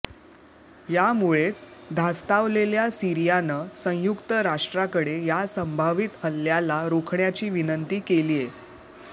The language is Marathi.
यामुळेच धास्तावलेल्या सीरियानं संयुक्त राष्ट्राकडे या संभावित हल्ल्याला रोखण्याची विनंती केलीय